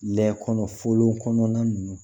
Lɛ kɔnɔ kɔnɔna ninnu